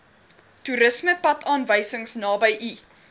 toerismepadaanwysing naby u